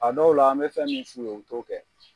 A dɔw la an bɛ fɛn min f'u ye, u t'o kɛ